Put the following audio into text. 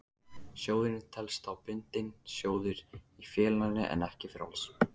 Sjóðurinn telst þá bundinn sjóður í félaginu en ekki frjáls.